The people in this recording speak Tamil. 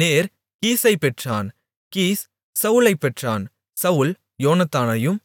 நேர் கீசைப் பெற்றான் கீஸ் சவுலைப் பெற்றான் சவுல் யோனத்தானையும்